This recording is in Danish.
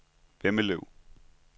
Vemmelev